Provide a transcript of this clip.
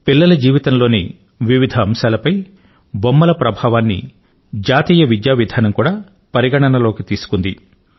పిల్లల జీవితంలోని వివిధ అంశాలపై బొమ్మల ప్రభావాన్ని జాతీయ విద్యా విధానం కూడా పరిగణనలోకి తీసుకుంది